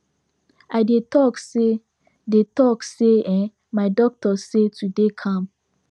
i dey talk say dey talk say um my doctor say to dey calm